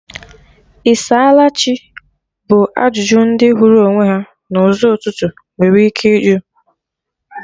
"Ị saala Chi?" bụ ajụjụ ndị hụrụ onwe ha na ụzọ ụtụtụ nwere ike ịjụ